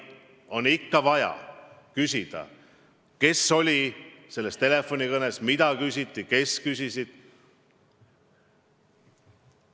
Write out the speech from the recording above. On ikka vaja küsida, kes osales selles telefonikõnes, mida küsiti, kes küsisid.